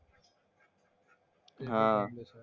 हां.